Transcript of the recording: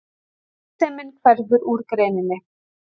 Arðsemin hverfur úr greininni